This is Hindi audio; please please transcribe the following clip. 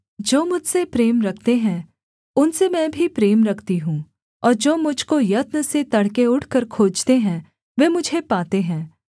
जो मुझसे प्रेम रखते हैं उनसे मैं भी प्रेम रखती हूँ और जो मुझ को यत्न से तड़के उठकर खोजते हैं वे मुझे पाते हैं